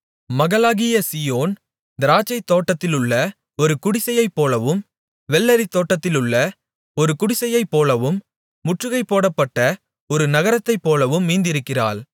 மகளாகிய சீயோன் திராட்சைத்தோட்டத்திலுள்ள ஒரு குடிசையைப்போலவும் வெள்ளரித் தோட்டத்திலுள்ள ஒரு குடிசையைப்போலவும் முற்றுகை போடப்பட்ட ஒரு நகரத்தைப்போலவும் மீந்திருக்கிறாள்